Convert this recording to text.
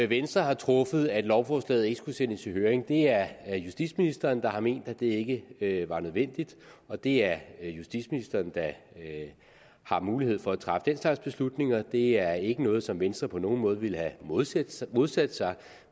venstre har truffet at lovforslaget ikke skulle sendes i høring det er justitsministeren der har ment at det ikke var nødvendigt og det er justitsministeren der har mulighed for at træffe den slags beslutninger det er ikke noget som venstre på nogen måde ville have modsat modsat sig